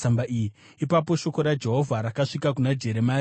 Ipapo shoko raJehovha rakasvika kuna Jeremia, richiti,